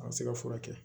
An ka se ka furakɛ